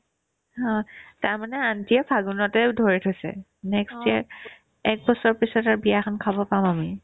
হ', তাৰমানে aunty য়ে ফাগুনতে ধৰি থৈছে next year একবছৰ পিছত আৰু বিয়াখন খাব পাম আমি